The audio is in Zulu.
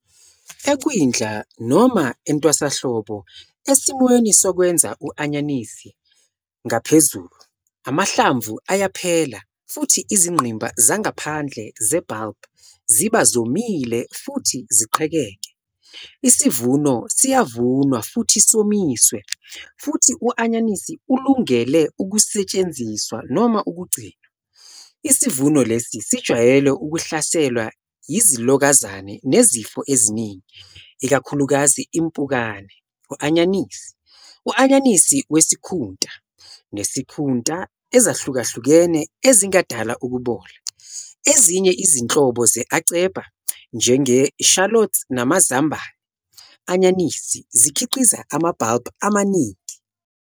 Ekwindla, noma entwasahlobo, esimweni sokwenza u-anyanisi ngaphezulu, amahlamvu ayaphela futhi izingqimba zangaphandle ze-bulb ziba zomile futhi ziqhekeke. Isivuno siyavunwa futhi somiswe futhi u-anyanisi ulungele ukusetshenziswa noma ukugcinwa. Isivuno lesi sijwayele ukuhlaselwa yizilokazane nezifo eziningi, ikakhulukazi impukane u-anyanisi, u- anyanisi wesikhunta, nesikhunta ezahlukahlukene ezingadala ukubola. Ezinye izinhlobo ze- "A.cepa", njenge-shallots namazambane anyanisi, zikhiqiza ama-bulb amaningi.